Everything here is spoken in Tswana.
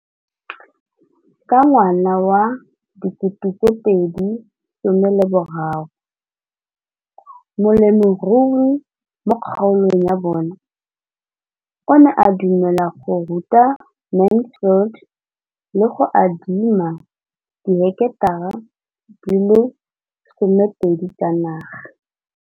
Ka ngwaga wa 2013, molemirui mo kgaolong ya bona o ne a dumela go ruta Mansfield le go mo adima di heketara di le 12 tsa naga.